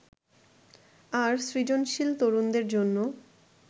আর সৃজনশীল তরুণদের জন্য